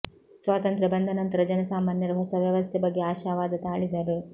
ಸ್ವಾತಂತ್ರ ಬಂದ ನಂತರ ಜನಸಾಮಾನ್ಯರು ಹೊಸ ವ್ಯವಸ್ಥೆ ಬಗ್ಗೆ ಆಶಾವಾದ ತಾಳಿದರು